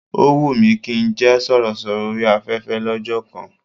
Ó wùn mí kí n jẹ́ sọ̀rọ̀sọ̀rọ̀ orí afẹ́fẹ́ lọ́jọ́ kan